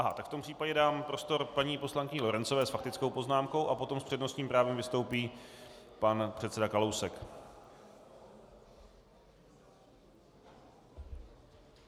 Ne, tak v tom případě dám prostor paní poslankyni Lorencové s faktickou poznámkou a potom s přednostním právem vystoupí pan předseda Kalousek.